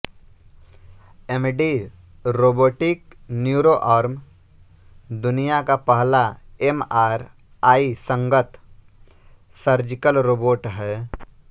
MD robotic neuroarm दुनिया का पहला एमआरआईसंगत सर्जिकल रोबोट है